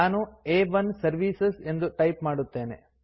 ನಾನು ಆ1 ಸರ್ವಿಸಸ್ ಎಂದು ಟೈಪ್ ಮಾಡುತ್ತೇನೆ